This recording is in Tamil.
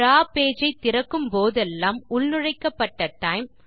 டிராவ் பேஜ் ஐ திறக்கும் போதெல்லாம் உள்நுழைக்கப்பட்ட டைம்